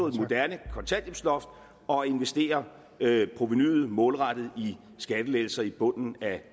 et moderne kontanthjælpsloft og at investere provenuet målrettet i skattelettelser i bunden af